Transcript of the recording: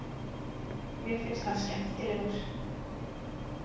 Mér finnst hann skemmtilegur.